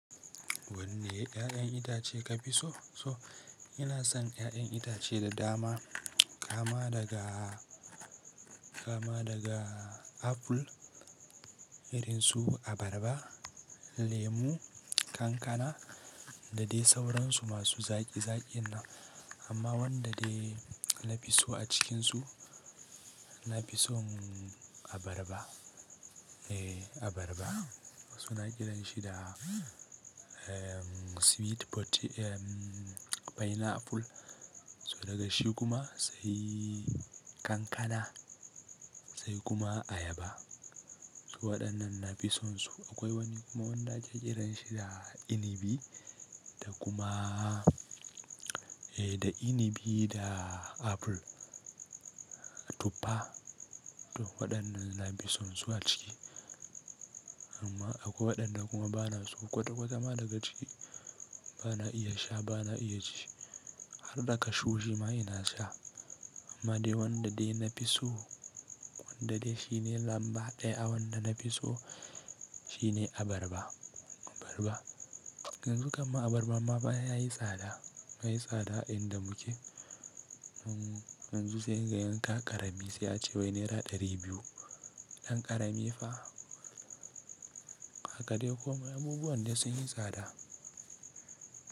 Wanne 'ya'yan itace ka fi so? So ina son 'ya'yan itace da dama, kama daga, kama daga apple, irinsu abarba, lemu, kankana da dai sauransu masu zaƙi-zaƙi na. Amma wanda dai na fi so a cikinsu, na fi son abarba. Eh abarba. To suna kiranshi da, eh sweet pote-- eh pineapple. So daga shi kuma sai kankana, sai kuma ayaba. So waɗannan na fi sonsu. Akwai wani kuma wanda ake kiranshi da inibi, da kuma, eh da inibi da apple, tuffa. To waɗannan na fi sonsu a ciki. Amma akwai waɗanda kuma bana so kwata-kwata ma daga ji, bana iya sha bana iya ci. Har da kashu shi ma ina sha. Amma dai wanda dai na fi so, wanda dai shine lamba ɗaya wanda na fi so shine abarba, abarba. Yanzu kamma abarba ma yayi tsada yana yi tsada a inda muke. Yanzu sai kaga yanka ƙarami sai a cewa naira ɗari biyu. Ɗan ƙarami fa. Hakade kuma abubuwan dai sun yi tsada.